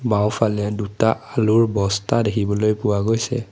বাওঁফালে দুটা আলুৰ বস্তা দেখিবলৈ পোৱা গৈছে।